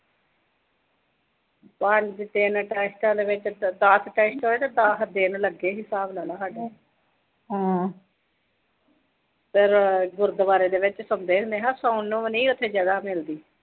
ਐਨੇ ਟੈਸਟਾਂ ਦੇ ਵਿੱਚ ਦਸ ਟੈਸਟ ਹੋਏ ਸੀ, ਦਸ ਦਿਨ ਲੱਗੇ ਸੀ, ਹਿਸਾਬ ਲਾ ਲੈ ਸਾਡੇ। ਫਿਰ ਗੁਰਦੁਆਰੇ ਦੇ ਵਿੱਚ ਸੌਂਦੇ ਸੀ। ਮੈਂ ਕਿਆ ਸੌਣ ਨੂੰ ਵੀ ਨੀਂ ਉਥੇ ਜਗ੍ਹਾ ਮਿਲਦੀ।